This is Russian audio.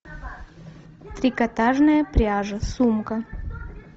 трикотажная пряжа сумка